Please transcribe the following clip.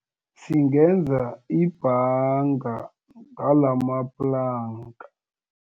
Singenza ibhanga ngalamaplanka.